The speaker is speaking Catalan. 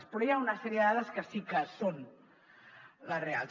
però hi ha una sèrie de dades que sí que són les reals